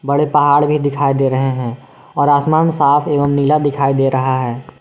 बड़े पहाड़ भी दिखाई दे रहे हैं और आसमान साफ एवं नीला दिखाई दे रहा है।